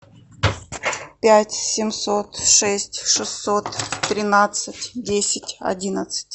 пять семьсот шесть шестьсот тринадцать десять одиннадцать